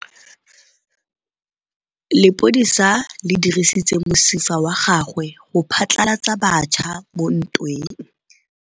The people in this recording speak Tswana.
Lepodisa le dirisitse mosifa wa gagwe go phatlalatsa batšha mo ntweng.